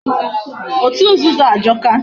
Otu nzuzu ajọka.